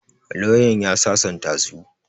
Lauyan ya sasanta su.